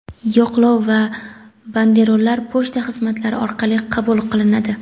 yo‘qlov yoki banderollar pochta xizmatlari orqali qabul qilinadi.